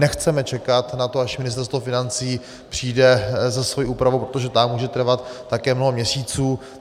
Nechceme čekat na to, až Ministerstvo financí přijde se svou úpravou, protože ta může trvat také mnoho měsíců.